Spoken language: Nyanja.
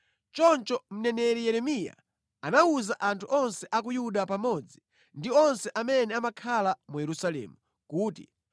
Choncho mneneri Yeremiya anawuza anthu onse a ku Yuda pamodzi ndi onse amene amakhala mu Yerusalemu kuti: